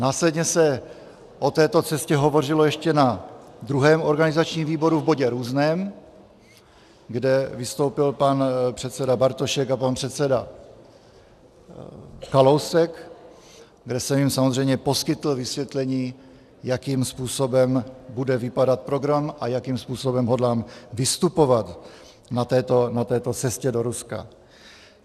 Následně se o této cestě hovořilo ještě na druhém organizačním výboru v bodě Různé, kde vystoupil pan předseda Bartošek a pan předseda Kalousek, kde jsem jim samozřejmě poskytl vysvětlení, jakým způsobem bude vypadat program a jakým způsobem hodlám vystupovat na této cestě do Ruska.